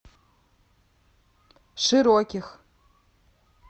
широких